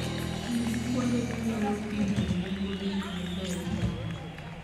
Ti gi kuonde minyalo pimoe nengo gik moko e intanet.